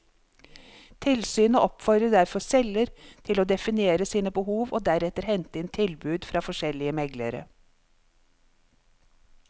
Tilsynet oppfordrer derfor selger til å definere sine behov og deretter hente inn tilbud fra forskjellige meglere.